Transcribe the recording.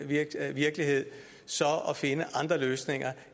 virkelighed virkelighed så at finde andre løsninger